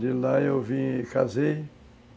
De lá eu vim e casei.